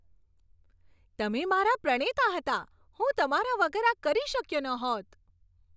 તમે મારા પ્રણેતા હતા! હું તમારા વગર આ કરી શક્યો ન હોત.